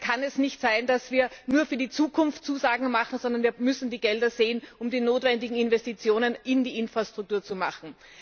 Da kann es nicht sein, dass wir nur für die Zukunft Zusagen machen, sondern wir müssen die Gelder sehen, um die notwendigen Investitionen in die Infrastruktur zu machen.